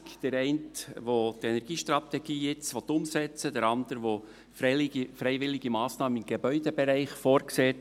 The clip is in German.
Der eine will die Energiestrategie jetzt umsetzen, der andere sieht freiwillige Massnahmen im Gebäudebereich vor.